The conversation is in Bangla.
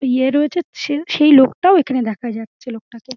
ইয়ে রয়ে যাচ্ছেন সেই লোকটাও এখানে দেখা যাচ্ছে লোকটাকে ।